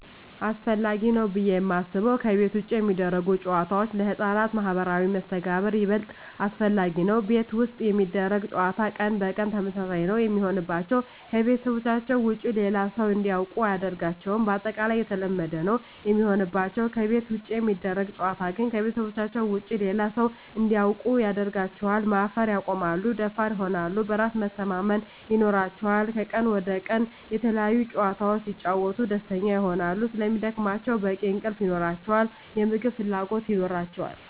አሰፈላጊ ነው ብዬ የማስበው ከቤት ውጭ የሚደረጉ ጨዋታዎች ለህፃናት ማህበራዊ መስተጋብር ይበልጥ አስፈላጊ ነው። ቤት ውስጥ የሚደረግ ጨዋታ ቀን በቀን ተመሳሳይ ነው የሚሆንባቸው , ከቤተሰባቸው ውጭ ሌላ ሰው እንዲያውቁ አያደርጋቸውም ባጠቃላይ የተለመደ ነው የሚሆንባቸው። ከቤት ውጭ የሚደረግ ጨዋታ ግን ከቤተሰባቸው ውጭ ሌላ ሰው እንዲያውቁ ያደርጋቸዋል, ማፈር ያቆማሉ, ደፋር ይሆናሉ, በራስ መተማመን ይኖራቸዋል," ከቀን ወደ ቀን የተለያዪ ጨዋታዎች ሲጫወቱ ደስተኛ ይሆናሉ ስለሚደክማቸው በቂ እንቅልፍ ይኖራቸዋል, የምግብ ፍላጎት ይኖራቸዋል።